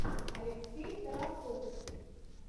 алексей тараповский